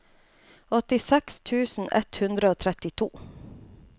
åttiseks tusen ett hundre og trettito